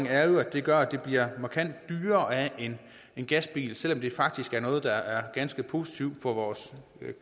er jo at det gør at det bliver markant dyrere at have en gasbil selv om det faktisk er noget der er ganske positivt for vores